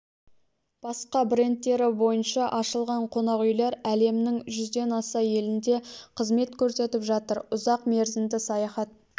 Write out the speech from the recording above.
басқа брендтері бойынша ашылған қонақ үйлер әлемнің жүзден аса елінде қызмет көрсетіп жатыр ұзақ мерзімді саяхат